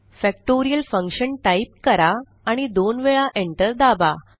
factorial Function type करा आणि दोन वेळा enter दाबा